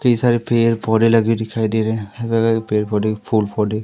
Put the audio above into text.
कई सारे पेड़ पौधे लगे दिखाई दे रहे हैं पेड़ पौधे फूल पौधे--